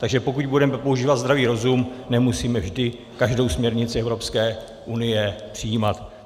Takže pokud budeme používat zdravý rozum, nemusíme vždy každou směrnici Evropské unie přijímat.